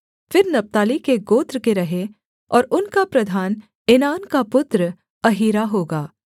फिर नप्ताली के गोत्र के रहें और उनका प्रधान एनान का पुत्र अहीरा होगा